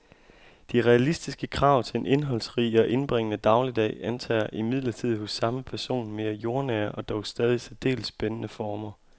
De realistiske krav til en indholdsrig og indbringende dagligdag antager imidlertid hos samme person mere jordnære og dog stadig særdeles spændende former.